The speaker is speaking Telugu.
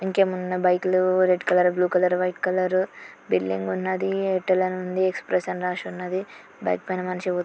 ఇంకెమున్న బైక్ లు red colour blue colour white colour building ఉన్నది ఎక్స్ప్రెషన్ రాసి ఉన్నదీ . బైక్ పైన మనషి --